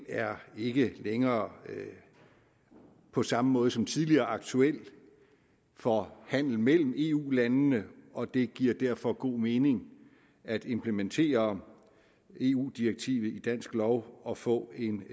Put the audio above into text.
er ikke længere på samme måde som tidligere aktuelle for handel mellem eu landene og det giver derfor god mening at implementere eu direktivet i dansk lov og få en